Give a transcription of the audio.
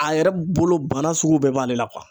A yɛrɛ bolo bana sugu bɛɛ b'ale la